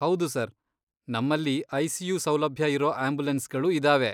ಹೌದು ಸರ್! ನಮ್ಮಲ್ಲಿ ಐ.ಸಿ.ಯು. ಸೌಲಭ್ಯ ಇರೋ ಆಂಬ್ಯುಲೆನ್ಸ್ಗಳು ಇದಾವೆ.